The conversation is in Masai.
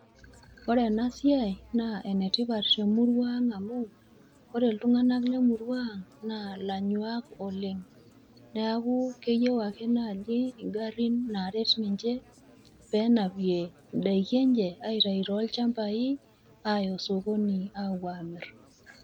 Ore enasiai, naa enetipat temurua ang' amu, ore iltung'anak lemurua ang', naa ilanyuak oleng'. Neeku, keyieu ake naji igarrin naaret ninche, penapie idaiki enche, aitayu tolchambai, aya osokoni apuo amir.